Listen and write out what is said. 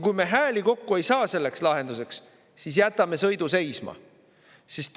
Kui me ei saa hääli kokku selleks lahenduseks, siis jätame sõidu seisma.